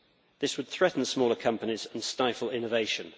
This would threaten smaller companies and stifle innovation.